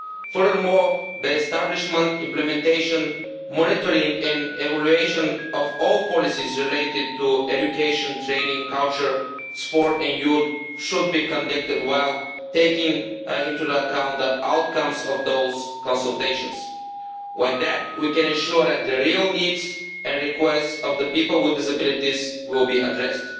Furthermore, the establishment, implementation, monitoring and evaluation of all policies related to education, training, culture, sport and youth should be conducted while taking into account the outcomes of those consultations. Like that, we can ensure that the real needs and requests of people with disabilities will be addressed.